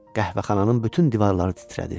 Qəhvəxananın bütün divarları titrədi.